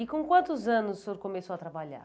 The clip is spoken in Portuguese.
E com quantos anos o senhor começou a trabalhar?